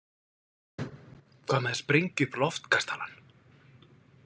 Hvað með að sprengja upp Loftkastalann?